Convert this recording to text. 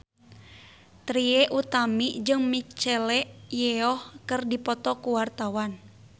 Trie Utami jeung Michelle Yeoh keur dipoto ku wartawan